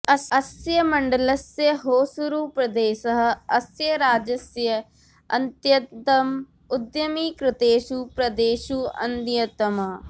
अस्य मण्डलस्य होसूरुप्रदेशः अस्य राज्यस्य अत्यन्तम् उद्यमीकृतेषु प्रदेशेषु अन्यतमः